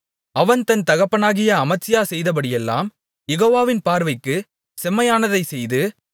அவன் தன் தகப்பனாகிய அமத்சியா செய்தபடியெல்லாம் யெகோவாவின் பார்வைக்கு செம்மையானதைச் செய்து